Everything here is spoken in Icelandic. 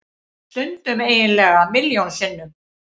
Stundum eiginlega milljón sinnum.